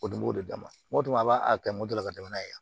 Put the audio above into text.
O dun b'o de d'a ma o don a b'a a kɛ mɔdɛli ka tɛmɛ n'a ye